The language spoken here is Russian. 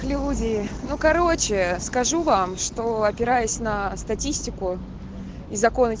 люди ну короче скажу вам что опираясь на статистику и законность